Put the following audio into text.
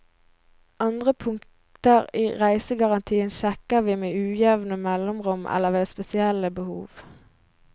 Andre punkter i reisegarantien sjekker vi med ujevne mellomrom eller ved spesielle behov.